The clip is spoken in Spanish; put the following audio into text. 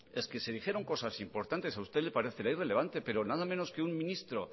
se dijeron cosas importantes a usted le parecerá irrelevante pero nada menos que un ministro